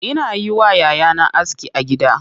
Ina yi wa yayana aski a gida.